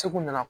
Segu na